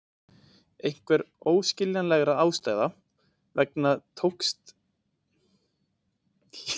Einhverra óskiljanlegra ástæða vegna tókst honum þó að skjóta knettinum framhjá.